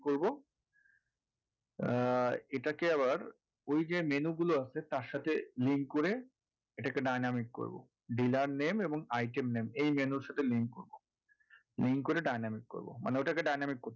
করবো আহ এটাকে আবার ওই যে menu গুলো আছে তার সাথে link করে এটাকে dynamic করবো dealer name এবং item name এই menu র সাথে link করবো link করে dynamic করবো মানে ওটাকে dynamic করতে হবে